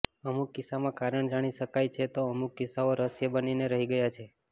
અમુક કિસ્સામાં કારણ જાણી શકાયું છે તો અમુક કિસ્સાઓ રહસ્ય બનીને રહી ગયા છે